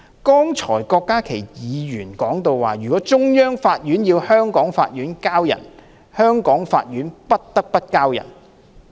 剛才郭家麒議員說，如果中央法院要香港法院"交人"，香港法院不得不"交人"。